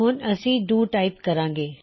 ਹੁਣ ਅਸੀਂ do type ਕਰਾਂਗੇ